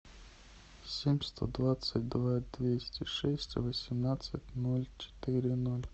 семь сто двадцать два двести шесть восемнадцать ноль четыре ноль